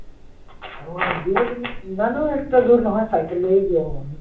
আহ দূৰ বুলি ইমানো extra দূৰ নহয়, চাইকেল লৈও গৈ আহো আমি